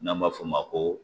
N'an b'a f'o ma ko